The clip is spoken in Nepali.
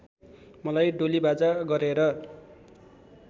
मलाई डोलीबाजा गरेर